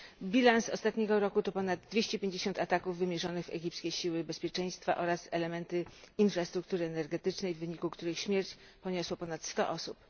Bilans ostatniego roku to ponad 250 ataków wymierzonych w egipskie siły bezpieczeństwa oraz elementy infrastruktury energetycznej, w wyniku których śmierć poniosło ponad 100 osób.